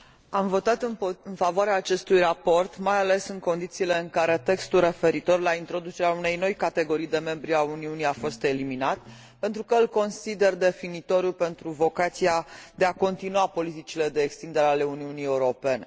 Am votat în favoarea acestui raport, mai ales în condițiile în care textul referitor la introducerea unei noi categorii de membri ai Uniunii a fost eliminat, pentru că îl consider definitoriu pentru vocația de a continua politicile de extindere ale Uniunii Europene.